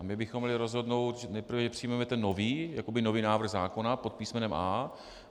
A my bychom měli rozhodnout nejprve, že přijmeme ten nový, jakoby nový návrh zákona pod písmenem A.